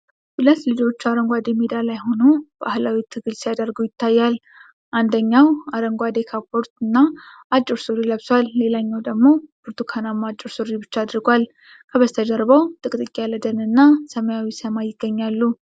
ሁለት ልጆች አረንጓዴ ሜዳ ላይ ሆኖ ባህላዊ ትግል ሲያደርጉ ይታያል። አንደኛው አረንጓዴ ካፖርትና አጭር ሱሪ ለብሷል፣ ሌላኛው ደግሞ ብርቱካንማ አጭር ሱሪ ብቻ አድርጓል። ከበስተጀርባው ጥቅጥቅ ያለ ደንና ሰማያዊ ሰማይ ይገኛሉ።